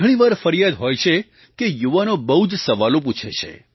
ઘણી વાર ફરિયાદ હોય છે કે યુવાનો બહુ જ સવાલો પૂછે છે